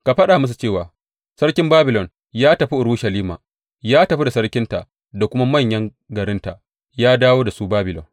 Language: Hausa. Ka faɗa musu cewa, Sarkin Babilon ya tafi Urushalima ya tafi da sarkinta da kuma manyan garinta, ya dawo da su Babilon.